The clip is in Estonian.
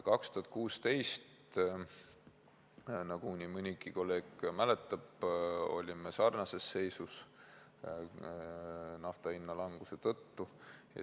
2016, nagu nii mõnigi kolleeg mäletab, olime sarnases seisus nafta hinna languse tõttu.